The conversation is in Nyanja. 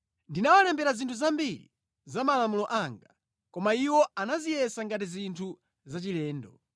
Ndinawalembera zinthu zambiri za malamulo anga, koma iwo anaziyesa ngati zinthu zachilendo.